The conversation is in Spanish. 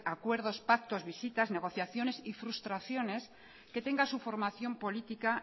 acuerdos pactos visitas negociaciones y frustraciones que tenga su formación política